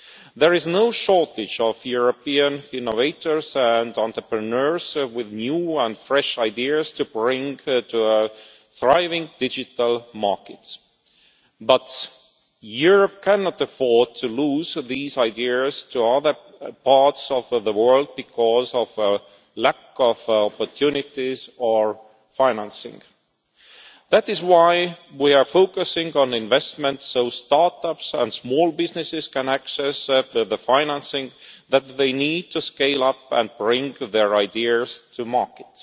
There is no shortage of European innovators and entrepreneurs with new and fresh ideas to bring to a thriving digital market. But Europe cannot afford to lose these ideas to other parts of the world because of a lack of opportunities or financing. That is why we are focusing on investments, so start-ups and small businesses can access the financing that they need to scale up and bring their ideas to market.